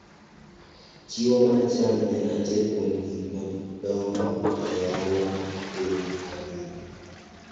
Chiwo mar cham en achiel kuom gik madongo e ohala mar piny mangima.